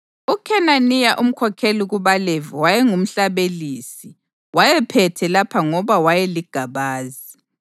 uKhenaniya umkhokheli kubaLevi wayengumhlabelisi; wayephethe lapha ngoba wayeligabazi.